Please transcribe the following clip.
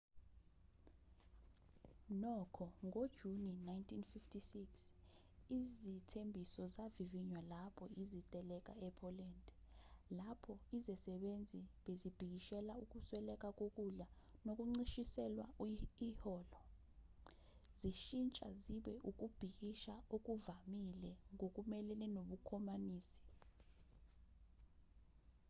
nokho ngojuni 1956 izithembiso zavivinywa lapho iziteleka e-poland lapho izisebenzi bezibhikishela ukusweleka kokudla nokuncishiselwa iholo zishintsha ziba ukubhikisha okuvamile ngokumelene nobukhomanisi